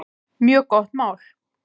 Mjög gott mál.